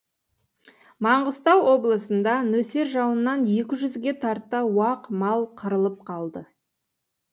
маңғыстау облысында нөсер жауыннан екі жүзгеге тарта уақ мал қырылып қалды